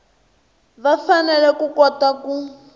va fanele ku kota ku